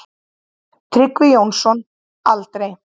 Tryggvi Jónsson: Aldrei.